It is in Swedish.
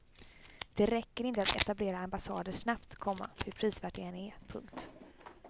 Det räcker inte att etablera ambassader snabbt, komma hur prisvärt det än är. punkt